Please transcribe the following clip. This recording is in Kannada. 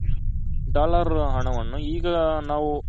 dollar ಹಣವನ್ನು ಈಗ ನಾವು